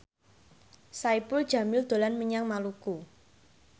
Saipul Jamil dolan menyang Maluku